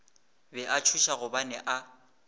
be a tšhoša gobane a